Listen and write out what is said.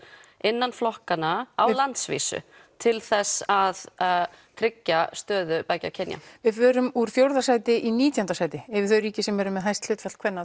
innan flokkanna á landsvísu til þess að tryggja stöðu beggja kynja við förum úr fjórða sæti í nítjánda sæti yfir þau ríki sem eru með hæst hlutfall kvenna